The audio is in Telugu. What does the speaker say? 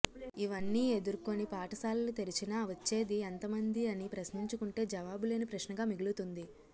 ఇవన్నీ ఎదుర్కొని పాఠశాలలు తెరచినా వచ్చేది ఎంత మంది అని ప్రశ్నించుకుంటే జవాబులేని ప్రశ్నగా మిగులుతుంది